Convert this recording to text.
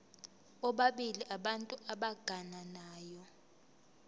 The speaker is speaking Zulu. bobabili abantu abagananayo